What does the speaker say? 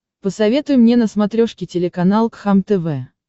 посоветуй мне на смотрешке телеканал кхлм тв